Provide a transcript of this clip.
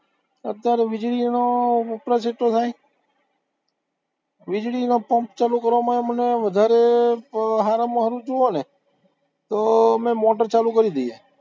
અત્યારે વીજળીનો વપરાશ એટલો થાય વીજળીનો પંપ ચાલુ કરવામાં ય મને વધારે સારામાં સારું જોવોને તો અમે મોટર ચાલુ કરી દઈએ